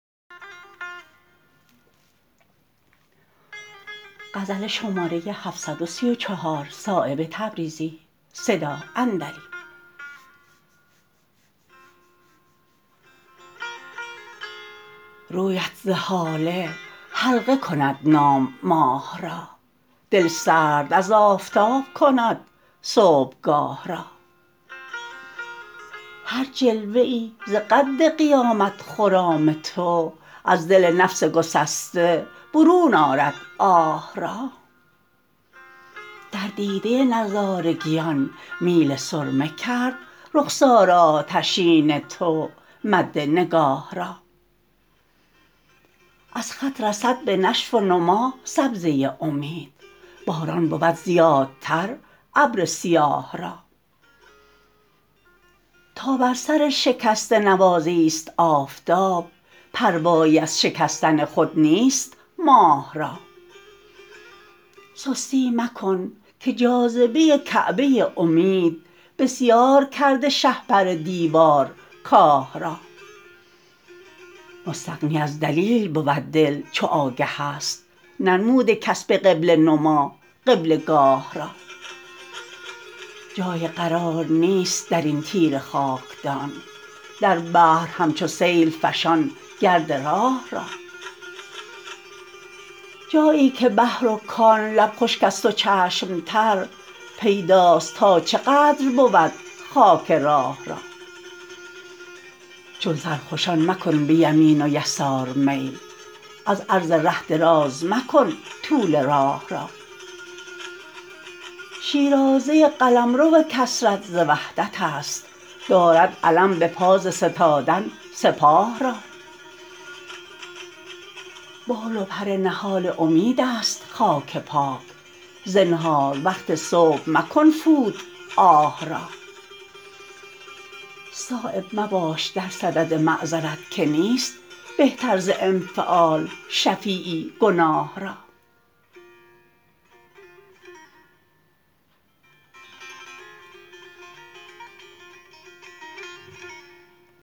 رویت ز هاله حلقه کند نام ماه را دلسرد از آفتاب کند صبحگاه را هر جلوه ای ز قد قیامت خرام تو از دل نفس گسسته برون آرد آه را در دیده نظارگیان میل سرمه کرد رخسار آتشین تو مد نگاه را از خط رسد به نشو و نما سبزه امید باران بود زیادتر ابر سیاه را تا بر سرشکسته نوازی است آفتاب پروایی از شکستن خود نیست ماه را سستی مکن که جاذبه کعبه امید بسیار کرده شهپر دیوار کاه را مستغنی از دلیل بود دل چو آگه است ننموده کس به قبله نما قبله گاه را جای قرار نیست درین تیره خاکدان در بحر همچو سیل فشان گرد راه را جایی که بحر و کان لب خشک است و چشم تر پیداست تا چه قدر بود خاک راه را چون سرخوشان مکن به یمین و یسار میل از عرض ره دراز مکن طول راه را شیرازه قلمرو کثرت ز وحدت است دارد علم بپا ز ستادن سپاه را بال و پر نهال امیدست خاک پاک زنهار وقت صبح مکن فوت آه را صایب مباش در صدد معذرت که نیست بهتر ز انفعال شفیعی گناه را